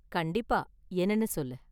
கண்டிப்பா, என்னனு சொல்லு.